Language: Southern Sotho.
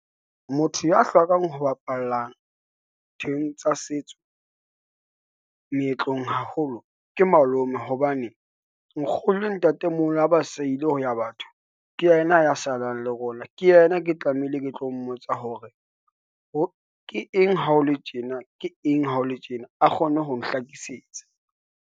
Motho ya hlokang ho bapalla thweng tsa setso meetlong haholo ke malome, hobane nkgono le ntatemoholo ha basalile ho ya batho. Ke yena a ya salang le rona, ke yena ke tlamehile ke tlo mmotsa hore, ke eng ha ho le tjena, a kgone ho nhlakisetsa.